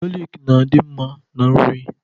Galik na-adị mma na nri